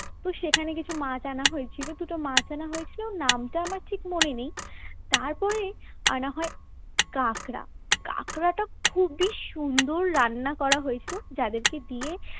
তো সেখানে কিছু মাছ আনা হয়েছিল দুটো মাছ আনা হয়েছিল নামটা আমার ঠিক মনে নেই তারপরেই আনা হয় কাঁকড়া কাঁকড়াটা খুবই সুন্দর রান্না করা হইত যাদেরকে দিয়ে